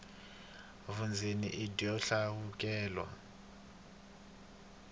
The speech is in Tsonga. vundzeni i byo hlawuleka